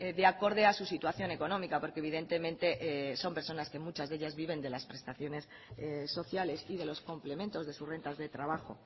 de acorde a su situación económica porque evidentemente son personas que muchas de ellas viven de las prestaciones sociales y de los complementos de sus rentas de trabajo